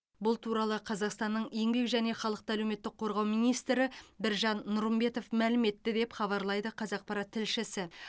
бұл туралы қазақстанның еңбек және халықты әлеуметтік қорғау министрі біржан нұрымбетов мәлім етті деп хабарлайды қазақпарат тілшісі